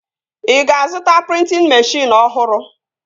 Ị ga-azụta prịntịn meshịn ọhụrụ?